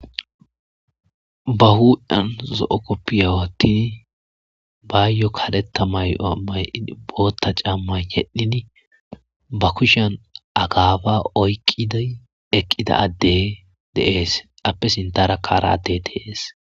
ba huan zo7o koppiya wattin baayyo kadeta may7oa may7 bootta cammay yedhdhin ba kushan agaaba oykqiday eqqida adde deees appe sindara kaara adde tees